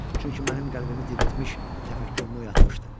Çünki mənim qəlbimi diriltmiş, təfəkkürümü oyatmışdı.